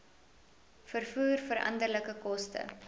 vervoer veranderlike koste